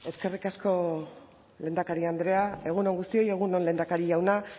eskerrik asko lehendakari andrea egun on guztioi egun on lehendakari jauna